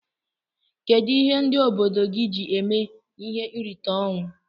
Kedu ihe ndi obodo gi ji eme ihe nrita onwụ?